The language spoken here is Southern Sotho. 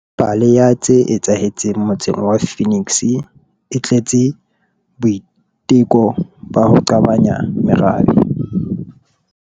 Pheto ya pale ya tse etsahetseng motseng wa Phoenix e tletse boiteko ba ho qabanya merabe.